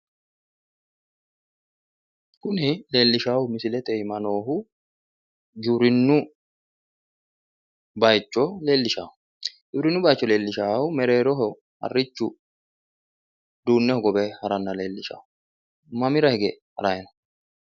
Kuni leellishaahu misilete iima noohu giwirinnubayiicho leellishshawo giwirinnu bayiicho leellishaahu mereeroho harrichu uduunne hogowe haranna leellishshawo. mamira hige harayi no?